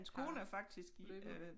Har løbet